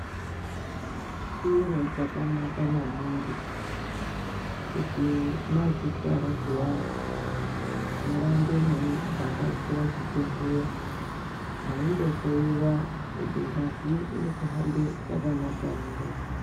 Chiro chakanaka maningi, kuti mwadzithwara zviyani, murambe mweivhakachira chibhedhleya, mweindohloiwa kuti ngazi iri kuhambe yakanaka ere?